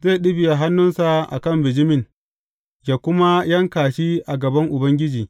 Zai ɗibiya hannunsa a kan bijimin, yă kuma yanka shi a gaban Ubangiji.